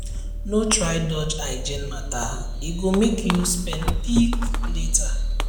no try dodge hygiene matter e go make you spend big later